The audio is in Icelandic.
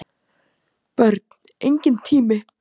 Börn: Enginn tími.